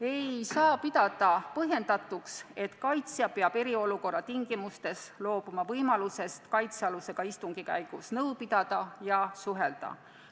Ei saa pidada põhjendatuks, et kaitsja peab eriolukorra tingimustes loobuma võimalusest kaitsealusega istungi käigus nõu pidada ja suhelda.